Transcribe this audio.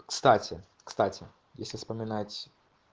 кстати кстати если вспоминать